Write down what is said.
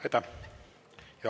Aitäh!